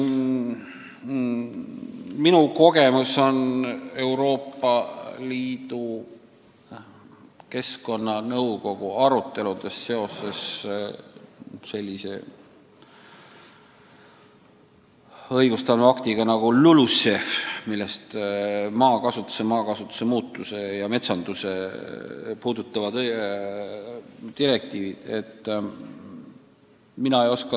Minu kogemus Euroopa Liidu keskkonnanõukogu aruteludest piirdub sellise õigustloova aktiga nagu LULUCEF, milles on maakasutust, maakasutuse muutusi ja metsandust puudutavad direktiivid.